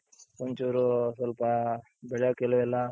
ಒಂಚೂರು ಸ್ವಲ್ಪ ಬೆಳೆಗುಳು ಎಲ್ಲಾ,